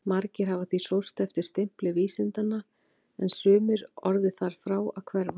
Margir hafa því sóst eftir stimpli vísindanna en sumir orðið þar frá að hverfa.